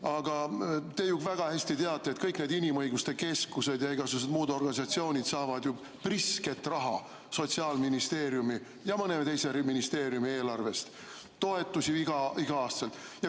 Aga te teate väga hästi, et kõik need inimõiguste keskused ja igasugused muud organisatsioonid saavad ju prisket raha Sotsiaalministeeriumi ja mõne teise ministeeriumi eelarvest, iga-aastaseid toetusi.